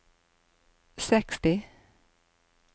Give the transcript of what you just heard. seksti